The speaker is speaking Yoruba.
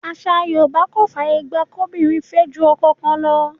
Àṣà Yorùbá kò fàyè gba kóbìnrin fẹ́ ju ọkọ kan lọ.